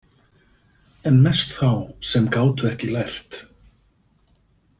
En mest þá sem gátu ekki lært.